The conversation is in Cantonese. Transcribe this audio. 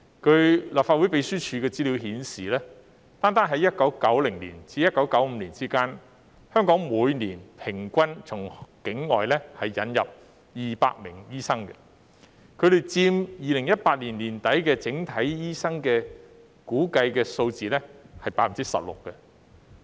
據立法會秘書處的資料顯示，單在1990年至1995年期間，香港每年平均從境外引入200名醫生，估計佔2018年年底整體醫生人數的 16%。